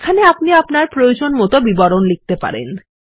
এখানে আপনি আপনার প্রয়োজনীয়তার বিবরণ লিখতে পারেন